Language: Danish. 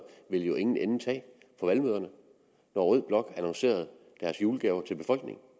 ville jo ingen ende tage på valgmøderne når rød blok annoncerede deres julegaver til befolkningen